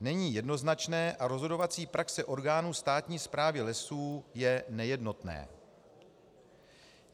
není jednoznačné a rozhodovací praxe orgánů státní správy lesů je nejednotná.